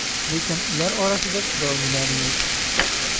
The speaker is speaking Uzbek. Lekin ular orasida chiroylilari yo‘q.